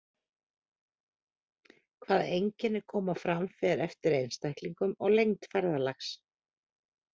Hvaða einkenni koma fram fer eftir einstaklingum og lengd ferðalags.